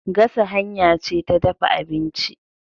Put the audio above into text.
Gasa hanya ce ta dafa abinci.